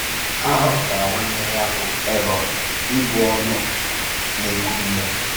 A họpụtara nwanne ya, bụ́ Érọn, ịbụ ọnụ na-ekwuru ya.